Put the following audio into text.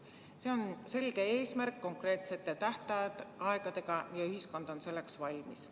See on selge eesmärk konkreetsete tähtaegadega ja ühiskond on selleks valmis.